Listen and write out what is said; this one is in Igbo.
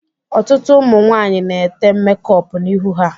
Ọtụtụ ụmụ nwaanyị na-ete mekọpu n'ihu ha.